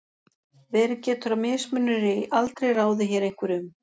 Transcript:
verið getur að mismunur í aldri ráði hér einhverju um